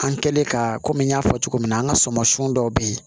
An kɛlen ka komi n y'a fɔ cogo min na an ka sumansun dɔw bɛ yen